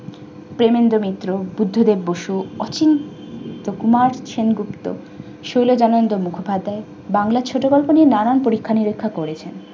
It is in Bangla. প্রেমেন্দ্র মিত্র বুদ্ধি দেব বসু অসীম সুকুমার সেনগুপ্ত শৈল দনন্দ মুখোপাধ্যায় বাংলা ছোট গল্প নিয়ে নানান পরীক্ষা নিরীক্ষা করেছেন।